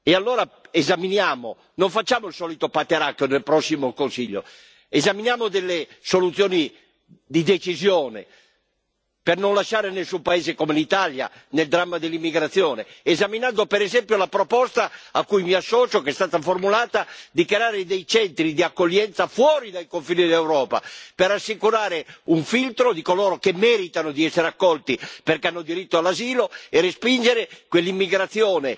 Allora non facciamo il solito pateracchio nel prossimo Consiglio, ma esaminiamo delle soluzioni di decisione per non lasciare nessun paese come l'Italia nel dramma dell'immigrazione, esaminando per esempio la proposta che è stata formulata a cui mi associo di creare dei centri di accoglienza fuori dai confini dell'Europa per assicurare un filtro di coloro che meritano di essere accolti perché hanno diritto all'asilo e respingere quell'immigrazione